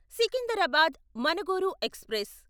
Secunderabad Manuguru express